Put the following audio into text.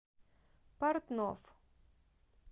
портновъ